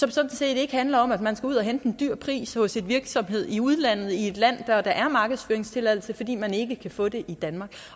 det sådan set ikke handler om at man skal ud og hente en høj pris hos en virksomhed i udlandet i et land hvor der er markedsføringstilladelse fordi man ikke kan få det i danmark